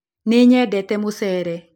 Nĩnyendete mũcele.